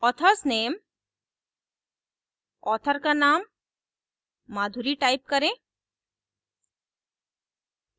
author s nameauthor का name madhuri type करें